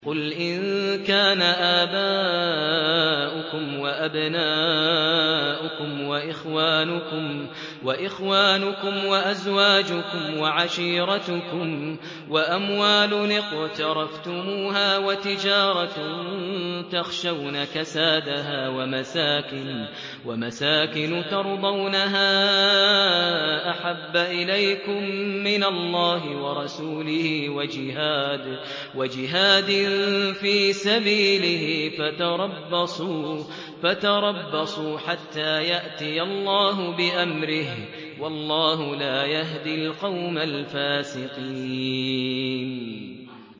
قُلْ إِن كَانَ آبَاؤُكُمْ وَأَبْنَاؤُكُمْ وَإِخْوَانُكُمْ وَأَزْوَاجُكُمْ وَعَشِيرَتُكُمْ وَأَمْوَالٌ اقْتَرَفْتُمُوهَا وَتِجَارَةٌ تَخْشَوْنَ كَسَادَهَا وَمَسَاكِنُ تَرْضَوْنَهَا أَحَبَّ إِلَيْكُم مِّنَ اللَّهِ وَرَسُولِهِ وَجِهَادٍ فِي سَبِيلِهِ فَتَرَبَّصُوا حَتَّىٰ يَأْتِيَ اللَّهُ بِأَمْرِهِ ۗ وَاللَّهُ لَا يَهْدِي الْقَوْمَ الْفَاسِقِينَ